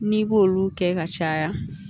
N'i b'olu kɛ ka caya